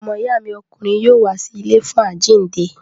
Ọmọ ìyá mi ọkùnrin yóò wá sí ilé fún àjíǹde.